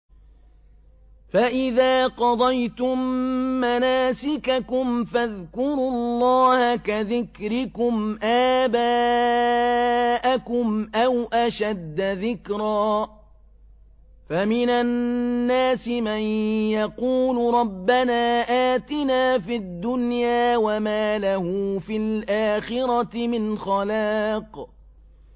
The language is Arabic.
فَإِذَا قَضَيْتُم مَّنَاسِكَكُمْ فَاذْكُرُوا اللَّهَ كَذِكْرِكُمْ آبَاءَكُمْ أَوْ أَشَدَّ ذِكْرًا ۗ فَمِنَ النَّاسِ مَن يَقُولُ رَبَّنَا آتِنَا فِي الدُّنْيَا وَمَا لَهُ فِي الْآخِرَةِ مِنْ خَلَاقٍ